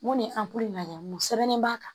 Mun ni an b'a lajɛ mun sɛbɛn b'a kan